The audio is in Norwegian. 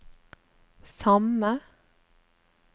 samme